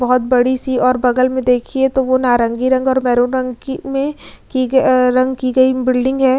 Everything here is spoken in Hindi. बहुत बड़ी सी और बगल में देखिए तो वो नारंगी रंग और मेहरून रंग की में की गयी रंग की गई बिल्डिंग है।